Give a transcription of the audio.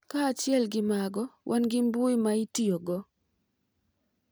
Kaachiel gi mago, wan gi mbui ma itiyogo.